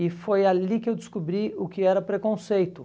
E foi ali que eu descobri o que era preconceito.